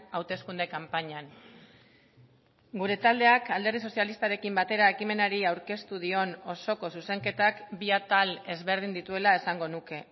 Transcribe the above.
hauteskunde kanpainan gure taldeak alderdi sozialistarekin batera ekimenari aurkeztu dion osoko zuzenketak bi atal ezberdin dituela esango nuke